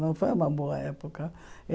Não foi uma boa época.